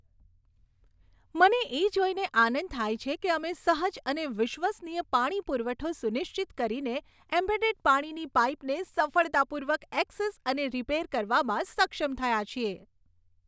મને એ જોઈને આનંદ થાય છે કે અમે સહજ અને વિશ્વસનીય પાણી પુરવઠો સુનિશ્ચિત કરીને એમ્બેડેડ પાણીની પાઇપને સફળતાપૂર્વક એક્સેસ અને રિપેર કરવામાં સક્ષમ થયા છીએ.